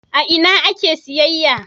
A ina ake siyayya?